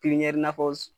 i n'a fɔ